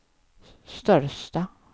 största